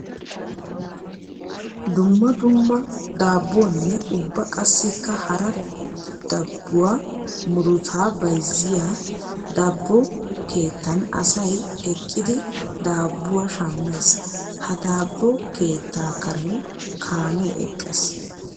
Dumma dumma daabuwanne ubba qassikka hara dabuwa murutta bayzziya dabbo keettan asay eqqiddi daabuwa shammees. Ha dabbo keetta karen kaame eqqiis.